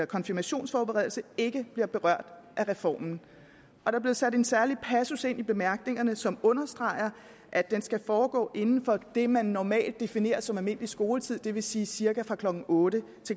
konfirmationsforberedelse ikke bliver berørt af reformen der er blevet sat en særlig passus ind i bemærkningerne som understreger at den skal foregå inden for det man normalt definerer som almindelig skoletid det vil sige cirka fra klokken otte